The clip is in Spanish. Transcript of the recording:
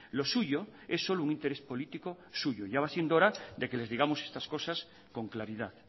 lo suyo es solo un interés político suyo ya va siendo hora de que les digamos estas cosas con claridad